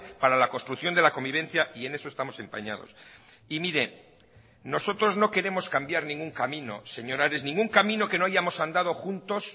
para la construcción de la convivencia y en eso estamos empañados y mire nosotros no queremos cambiar ningún camino señor ares ningún camino que no hayamos andado juntos